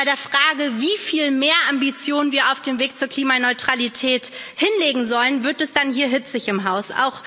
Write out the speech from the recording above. Bei der Frage, wieviel mehr Ambitionen wir auf dem Weg zur Klimaneutralität hinlegen sollen, wird es dann hitzig hier im Haus.